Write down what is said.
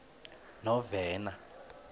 novena